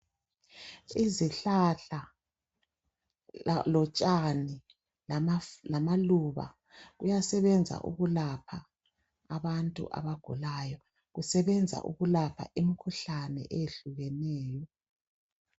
Izihlahla lotshani lamaluba kuyasebenza ukulapha abantu abagulayo, kusebenza ukulapha um'khuhlane eyehlukeneyo.